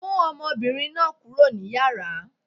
Mú ọmọbìnrin náà kúrò ní Yàrá.!